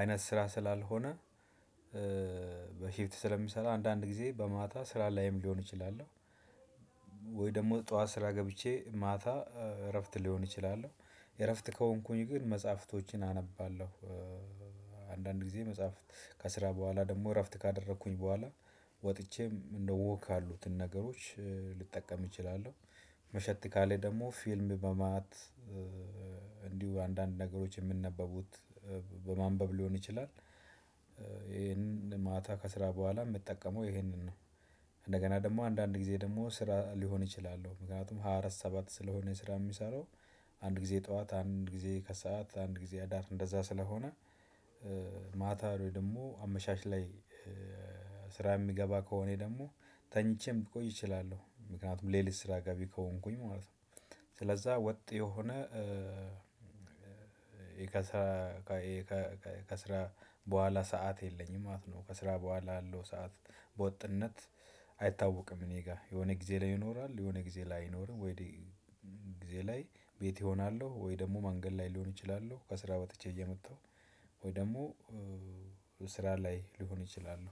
አይነት ስራ ስላልሆነ። በሽፍት ስለሚሰራ አንዳንድ ጊዜ በማታ ስራ ላይም ሊሆን ይችላል። ወይ ደግሞ ጠዋት ስራ ገብቸ ማታ ረፍት ልሆን እችላለሁ ረፍት ከሆንኩኝ ግን መፅሃቶችን አነባለሁ። አንዳንድ ጊዜ መጽሐፍ ከስራ በኋላ ደግሞ እረፍት ካደረኩኝ በኋላ ወጥቼም እንደ ወክ ያሉትን ነገሮች ልጠቀም እችላለሁ። መሸት ካለ ደግሞ ፊልም በማት እንዲሁም አንዳንድ ነገሮች የሚነበቡት በማንበብ ሊሆን ይችላል። ከስራ በኋላ የምጠቀመው ይህንን። እንደገና ደግሞ አንዳንድ ጊዜ ደግሞ ስራ ሊሆን እችላለሁ ምክንያቱም ሃያ አራት ሰባት ስለሆነ ስራ የሚሰራው አንድ ጊዜ ጠዋት አንድ ጊዜ ከሰአት አንድ ጊዜ አዳር እንደዛ ስለሆነ። ማታ ወይ ደግሞ አመሻሽ ላይ ስራ የሚገባ ከሆነ ደግሞ ተኝቼም ልቆይ እችላለሁ ምክንያቱም ሌሊት ስራ ገቢ ከሆንኩኝ ማለት ነው። ስለዛ ወጥ የሆነ። ከ ከስራ በኋላ ሰዓት የለኝም ማለት ነው ከስራ በኋላ ያለው ሰዓት በወጥነት አይታወቅም። እኔ ጋ የሆነ ጊዜ ላይ ይኖራል የሆነ ጊዜ ላይ አይኖርም ወይ ጊዜ ላይ ቤት እሆናለሁ ወይ ደግሞ መንገድ ላይ ሊሆን ይችላለሁ ከስራ ወጥቼ እየመጣሁ። ወይ ደግሞ ስራ ላይ ልሆን እይችላል።